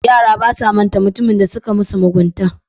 Yara basa manta mutumin da suka musu mugunta.